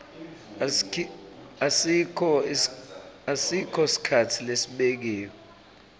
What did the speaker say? asikho sikhatsi lesibekiwe